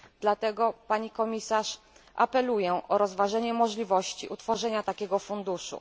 Dlatego Pani Komisarz apeluję o rozważenie możliwości utworzenia takiego funduszu.